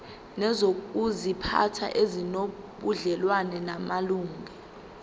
nezokuziphatha ezinobudlelwano namalungelo